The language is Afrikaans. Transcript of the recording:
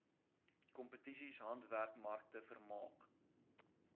kompetisies handwerkmarkte vermaak